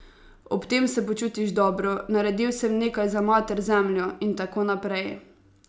Ob tem se počutiš dobro: 'Naredil sem nekaj za mater Zemljo,' in tako naprej.